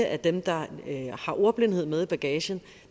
af dem der har ordblindhed med i bagagen